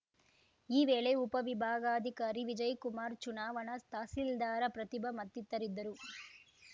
ಈ ವೇಳೆ ಉಪವಿಭಾಗಾಧಿಕಾರಿ ವಿಜಯ್ಕುಮಾರ್‌ ಚುನಾವಣಾ ತಹಸೀಲ್ದಾರ್‌ ಪ್ರತಿಭಾ ಮತ್ತಿತರಿದ್ದರು